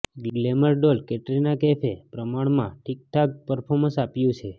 glamour doll Katrina કૈફે પ્રમાણમાં ઠીકઠાક પર્ફોમન્સ આપ્યું છે